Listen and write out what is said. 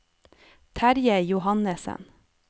Terje Johannesen